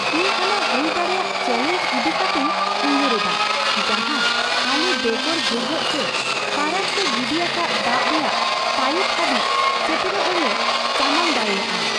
ᱤᱧ ᱚᱱᱟ ᱦᱩᱭ ᱫᱟᱲᱮᱭᱟᱜ ᱪᱮᱞᱮᱧᱡᱽ ᱤᱫᱤ ᱠᱟᱛᱮᱧ ᱩᱭᱦᱟᱹᱨᱮᱫᱟ ᱡᱟᱦᱟᱸ ᱟᱞᱮ ᱵᱮᱜᱚᱨ ᱵᱷᱩᱜᱟᱹᱜ ᱥᱮ ᱯᱷᱟᱨᱟᱠ ᱛᱮ ᱜᱤᱰᱤ ᱟᱠᱟᱫ ᱫᱟᱜ ᱨᱮᱭᱟᱜ ᱯᱟᱭᱤᱯ ᱦᱟᱹᱵᱤᱡᱽ ᱥᱮᱴᱮᱨᱚᱜ ᱨᱮᱞᱮ ᱥᱟᱢᱟᱝ ᱫᱟᱲᱮᱭᱟᱜᱼᱟ ᱾